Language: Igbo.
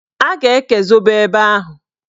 A ga-eke zobo ebe ahụ.